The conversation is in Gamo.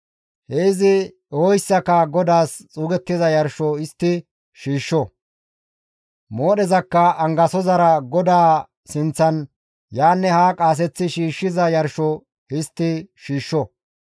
He izi ehoyssaka GODAAS xuugettiza yarsho histti shiishsho; moodhezakka angasozara GODAA sinththan yaanne haa qaaseththi shiishshiza yarsho histti shiishsho.